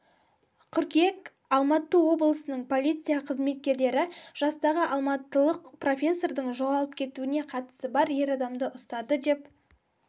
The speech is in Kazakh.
қыркүйек алматы облысының полиция қызметкерлері жастағы алматылық профессордың жоғалып кетуіне қатысы бар ер адамды ұстады деп